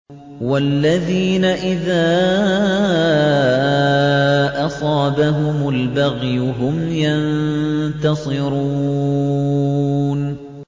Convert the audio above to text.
وَالَّذِينَ إِذَا أَصَابَهُمُ الْبَغْيُ هُمْ يَنتَصِرُونَ